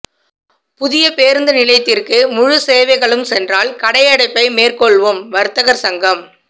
புதிய பேரூந்து நிலையத்திற்கு முழு சேவைகளும் சென்றால் கடையடைப்பை மேற்கொள்வோம் வர்த்தகர் சங்கம்